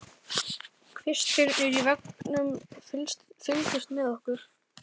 Kvistirnir í veggnum fylgdust með okkur.